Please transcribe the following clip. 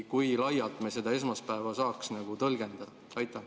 Kui laialt me seda esmaspäeva saaks tõlgendada?